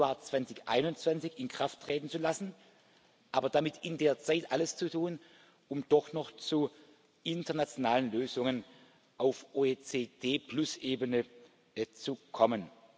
1. Januar 2021 in Kraft treten zu lassen, aber damit in der Zeit alles zu tun, um doch noch zu internationalen Lösungen auf OECD plus Ebene zu kommen.